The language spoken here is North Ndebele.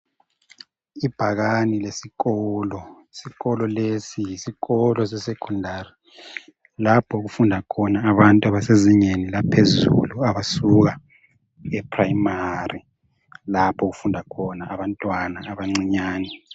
Ibhakane lesikolo. Isikolo lesi yisikolo sesecondary lapho okufunda khona abantu abasezingeni laphezulu abasuka eprimary lapho okufunda khona abantwana abancinyane.